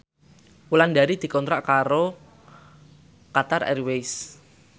Wulandari dikontrak kerja karo Qatar Airways